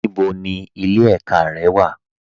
Níbo ni ilẹ̀ ẹ̀kà rẹ wà?